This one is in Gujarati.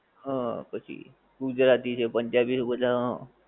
હં પછી ગુજરાતી છે, પંજાબી છે બધા હં.